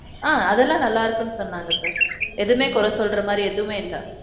ஆ அதெல்லாம் நல்லா இருக்குன்னு சொன்னாங்க sir. எதுமே குறை சொல்ற மாதிரி எதுமே இல்ல.